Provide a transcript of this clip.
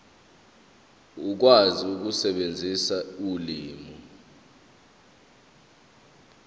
ukwazi ukusebenzisa ulimi